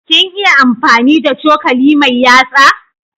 Kin iya amfani da cokali mai yatsa?